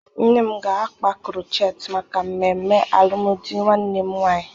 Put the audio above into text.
Nne m ga-akpa krochet maka mmemme alụmdi nwanne m nwaanyị.